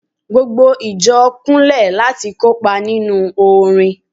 gbogbo ìjọ Kunle lati kopa ninu orin